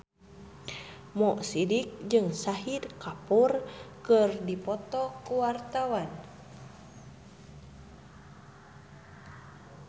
Mo Sidik jeung Shahid Kapoor keur dipoto ku wartawan